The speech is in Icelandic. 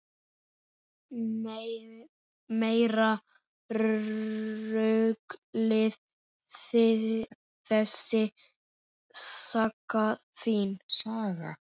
Meira ruglið þessi saga þín!